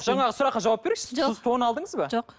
жаңағы сұраққа жауап беріңізші сіз тон алдыңыз ба жоқ